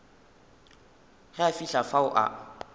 ge a fihla fao a